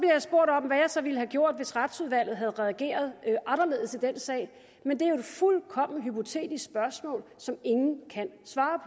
så ville have gjort hvis retsudvalget havde reageret anderledes i den sag men det er jo et fuldkommen hypotetisk spørgsmål som ingen kan svare